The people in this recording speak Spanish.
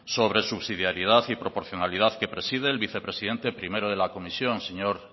sobre subsidiaridad y proporcionalidad que preside el vicepresidente primero de la comisión el señor